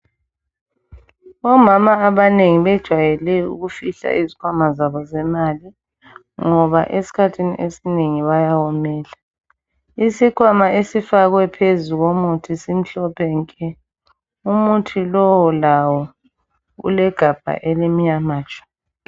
Omama abanengi bejwayele ukufihla izkhwama zabo ezemali ngoba eskhathini esinengi bayawomela , isikhwama esifakwe phezu komuthi simhlophe nke umuthi lowu lawo ulegabha elimunyama tshu.